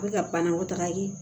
A bɛ ka banakɔ taga in